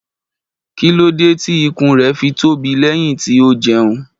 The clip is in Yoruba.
Kí ló dé tí ikùn rẹ̀ fi tóbi lẹ́yìn tí ó jẹun?